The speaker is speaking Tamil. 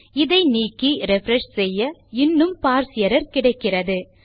இதை நீக்கி ரிஃப்ரெஷ் செய்ய இன்னும் பார்ஸ் எர்ரர் கிடைக்கிறது